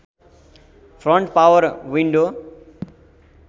front power window